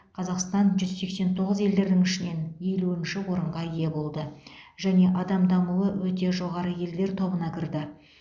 қазақстан жүз сексен тоғыз елдердің ішінен елуінші орынға ие болды және адам дамуы өте жоғары елдер тобына кірді